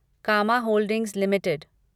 comma holdings limited